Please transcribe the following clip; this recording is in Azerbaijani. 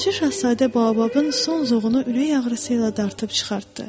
Balaca Şahzadə baobabın son zoğunu ürək ağrısı ilə dartıb çıxartdı.